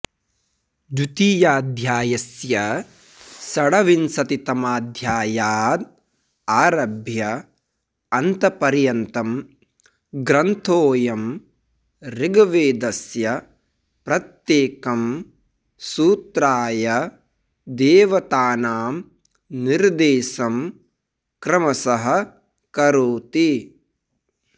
द्वितीयाध्यायस्य षड्विंशतितमाध्यायाद् आरभ्य अन्तपर्यन्तं ग्रन्थोऽयम् ऋग्वेदस्य प्रत्येकं सूत्राय देवतानां निर्देशं क्रमशः करोति